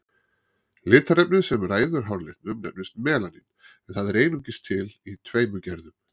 Litarefnið sem ræður háralitnum nefnist melanín, en það er einungis til í tveimur gerðum.